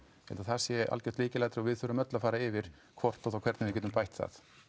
það sé algjört lykilatriði og við þurfum öll að fara yfir hvort og þá hvernig við getum bætt það